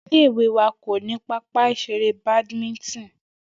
Ilé ìwé wa kò ní pápá ìs̩eré Badminton